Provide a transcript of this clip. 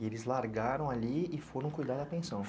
E eles largaram ali e foram cuidar da pensão.